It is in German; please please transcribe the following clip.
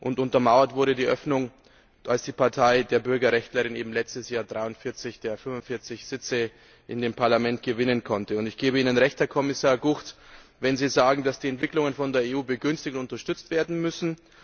Und untermauert wurde die Öffnung, als die Partei der Bürgerrechtlerin letztes Jahr 43 der 45 Sitze im Parlament gewinnen konnte. Ich gebe Ihnen recht, Herr Kommissar De Gucht, wenn Sie sagen, dass die Entwicklungen von der EU begünstigt und unterstützt werden müssen.